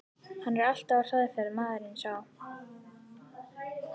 Hann er alltaf á hraðferð, maðurinn sá.